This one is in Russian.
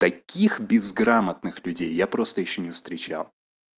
таких безграмотных людей я просто ещё не встречал